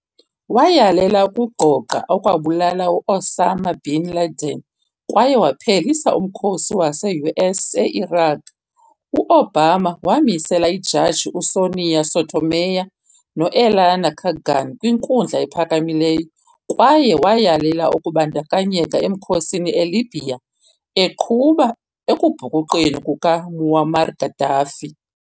Wayalela ukugqogqa okwabulala u-Osama bin Laden kwaye waphelisa umkhosi wase-US e-Iraq. U-Obama wamisela iijaji uSonia Sotomayor no-Elena Kagan kwiNkundla ePhakamileyo, kwaye wayalela ukubandakanyeka emkhosini eLibya, eqhuba ekubhukuqweni kukaMuammar Gaddafi.